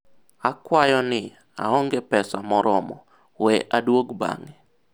akwayo ni, aonge pesa moromo, we adwog bang'e